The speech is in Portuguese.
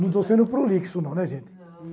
Não estou sendo prolixo, não, né, gente? Não.